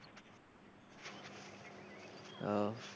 ওহ,